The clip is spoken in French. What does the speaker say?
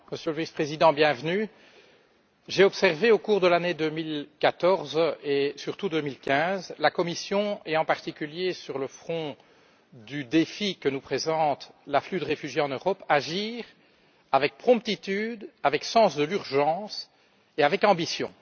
Monsieur le Président, Monsieur le Vice Président, j'ai observé, au cours de l'année 2014 et surtout 2015, la Commission, et en particulier sur le front du défi que nous présente l'afflux de réfugiés en Europe, agir avec promptitude, avec sens de l'urgence et avec ambition.